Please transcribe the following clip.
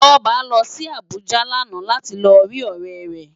Toba lò si Abuja làná láti ló ri órè rè